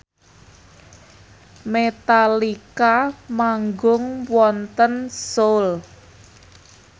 Metallica manggung wonten Seoul